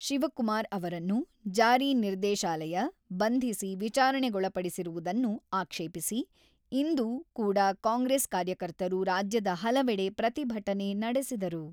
ಶಿವಕುಮಾರ್‌ ಅವರನ್ನು ಜಾರಿ ನಿರ್ದೇಶಾಲಯ, ಬಂಧಿಸಿ ವಿಚಾರಣೆಗೊಳಪಡಿಸಿರುವುದನ್ನು ಆಕ್ಷೇಪಿಸಿ ಇಂದು ಕೂಡ ಕಾಂಗ್ರೆಸ್ ಕಾರ್ಯಕರ್ತರು ರಾಜ್ಯದ ಹಲವೆಡೆ ಪ್ರತಿಭಟನೆ ನಡೆಸಿದರು.